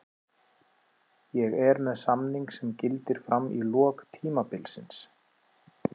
Ég er með samning sem gildir fram í lok tímabilsins.